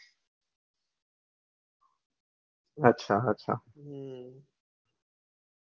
અચ્છા અચ્છા